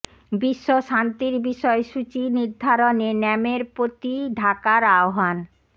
বিশ্ব শান্তির বিষয় সূচি নির্ধারণে ন্যামের প্রতি ঢাকার আহ্বান